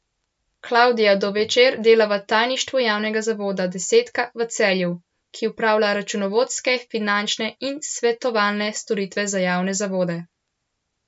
Klavdija Dovečer dela v tajništvu javnega zavoda Desetka v Celju, ki opravlja računovodske, finančne in svetovalne storitve za javne zavode.